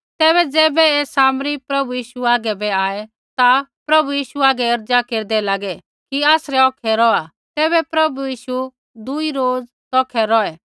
तैबै ज़ैबै ऐ सामरी प्रभु यीशु आगै बै आऐ ता प्रभु यीशु हागै अर्ज़ा केरदै लागे कि आसरै औखै रौहा तैबै प्रभु यीशु दुई रोज तौखै रौहै